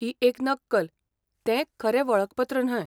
ही एक नक्कल, तें खरें वळखपत्र न्हय .